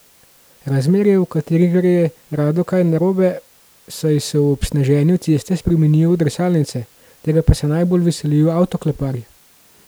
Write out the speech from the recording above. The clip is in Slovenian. Razmere, v katerih gre rado kaj narobe, saj se ob sneženju ceste spremenijo v drsalnice, tega pa se najbolj veselijo avtokleparji.